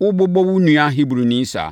worebobɔ wo nua Hebrini saa?”